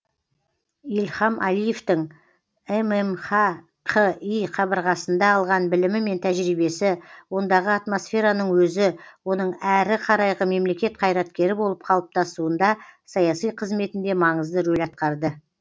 ильхам әлиевтің ммхқи қабырғасында алған білімі мен тәжірибесі ондағы атмосфераның өзі оның әрі қарайғы мемлекет қайраткері болып қалыптасуында саяси қызметінде маңызды рөл атқарды